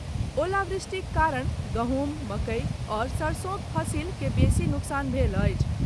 ओलावृष्टि कारण गहुँम, मकई आओर सरसोंक फसिल के बेसी नोकसान भेल अछि।